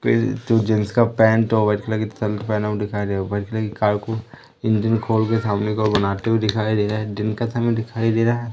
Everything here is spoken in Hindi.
तो जेंट्स का पैंट होगा जो शर्ट पेहना हुआ दिखाई दे रा वाइट कलर की कार को इंजीन खोल के सामने की ओर बनाते हुए दिखाई दे रा है दिन का समय दिखाई दे रहा है।